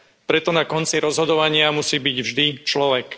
Preto na konci rozhodovania musí byť vždy človek.